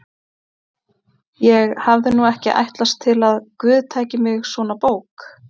Ég hafði nú ekki ætlast til að guð tæki mig svona bók